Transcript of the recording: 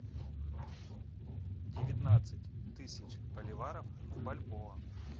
девятнадцать тысяч боливаров в бальбоа